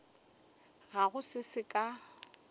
ga go se se ka